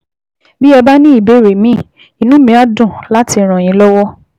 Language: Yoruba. Bí ẹ bá ní ìbéèrè míì, inú mi á dùn láti ràn yín lọ́wọ́